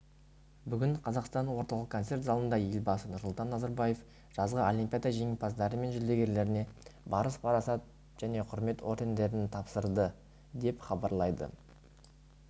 бүгін қазақстан орталық концерт залында елбасы нұрсұлтан назарбаев жазғы олимпиада жеңімпаздары мен жүлдегерлеріне барыс парасат және құрмет ордендерін тапсырды деп хабарлайды